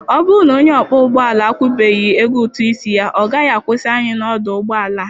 Ọ bụrụ na onye ọkpọ ụgbọala a akwụbeghị ego ụtụ isi ya, ọ gaghị akwụsị anyị n'ọdụ ụgbọ ala.